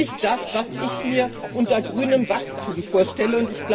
Das ist nicht das, was ich mir unter grünem Wachstum vorstelle.